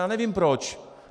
Já nevím proč.